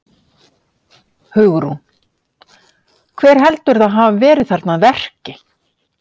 Hugrún: Hver heldurðu að hafi verið þarna að verki?